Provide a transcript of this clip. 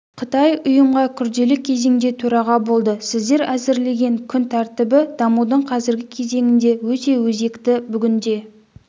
қытай ұйымға күрделі кезеңде төраға болды сіздер әзірлеген күн тәртібі дамудың қазіргі кезеңінде өте өзекті бүгінде